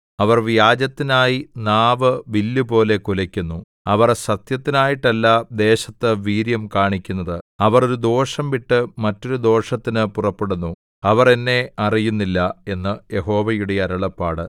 അവർ വ്യാജത്തിനായി നാവ് വില്ലുപോലെ കുലക്കുന്നു അവർ സത്യത്തിനായിട്ടല്ല ദേശത്ത് വീര്യം കാണിക്കുന്നത് അവർ ഒരു ദോഷം വിട്ട് മറ്റൊരു ദോഷത്തിന് പുറപ്പെടുന്നു അവർ എന്നെ അറിയുന്നില്ല എന്ന് യഹോവയുടെ അരുളപ്പാട്